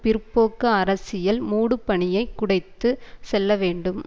பிற்போக்கு அரசியல் மூடுபனியை குடைத்து செல்ல வேண்டும்